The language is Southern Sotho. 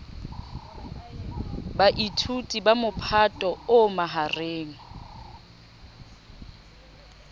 baithuti ba mophato o mahareng